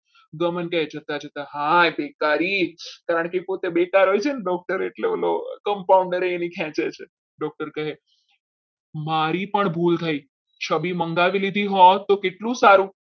કહે છે જોતા જોતા હાય તારી કે પોતે બેકાર હોય છે ને doctor એટલે compounder એની ખેંચે છે doctor કહે મારી પણ ભૂલ થઈ છબી મંગાવી લીધી હોત તો કેટલું સારું.